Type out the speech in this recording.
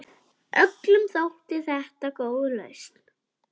Öllum þótti þetta góð lausn.